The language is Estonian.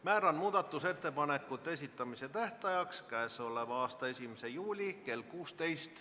Määran muudatusettepanekute esitamise tähtajaks k.a 1. juuli kell 16.